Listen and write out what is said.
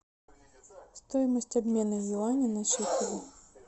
стоимость обмена юаней на шекели